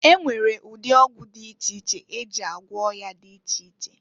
E nwere ụdị ọgwụ dị iche iche e ji agwọ ọya dị iche iche.